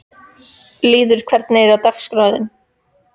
Lýður, hvernig er dagskráin?